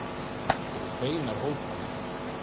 Þetta eru beinar hótanir.